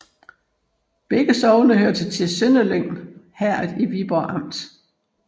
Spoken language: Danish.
Begge sogne hørte til Sønderlyng Herred i Viborg Amt